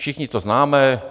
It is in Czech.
Všichni to známe.